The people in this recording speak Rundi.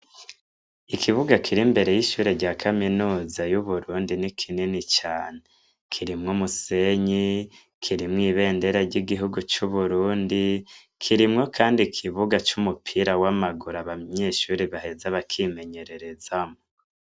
Ikibuga kir'imbere y'ishure rya kaminuza n'ikibuga kinini cane, kirimwo umusenyi; kirimwo ibendera ry'igihugu cacu c'uburundi, kirimwo kandi ikibuga c'umupira w'amaguru ahantu abanyeshure baheza bakimenyererezamwo.